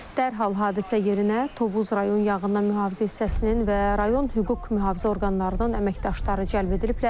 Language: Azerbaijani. Dərhal hadisə yerinə Tovuz rayon yanğından mühafizə hissəsinin və rayon hüquq mühafizə orqanlarının əməkdaşları cəlb ediliblər.